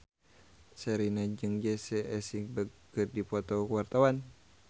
Sherina jeung Jesse Eisenberg keur dipoto ku wartawan